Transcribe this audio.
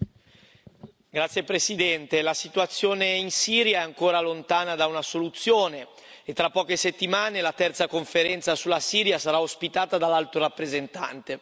Signora Presidente, onorevoli colleghi, la situazione in Siria è ancora lontana da una soluzione e tra poche settimane la terza conferenza sulla Siria sarà ospitata dall'Alto rappresentante.